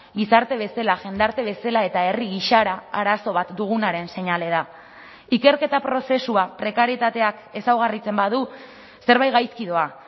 gizarte bezala jendarte bezala eta herri gisara arazo bat dugunaren seinale da ikerketa prozesua prekarietateak ezaugarritzen badu zerbait gaizki doa